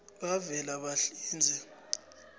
kavelabahlinze